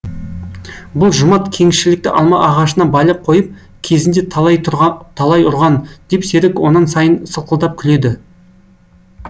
бұл жұмат кеңшілікті алма ағашына байлап қойып кезінде талай ұрған деп серік онан сайын сылқылдап күледі